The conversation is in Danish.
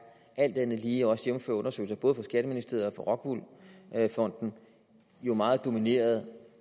alt andet lige også jævnfør undersøgelser både fra skatteministeriet og fra rockwool fonden meget domineret